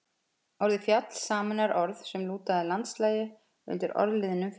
Orðið fjall sameinar orð sem lúta að landslagi undir orðliðnum fjalls-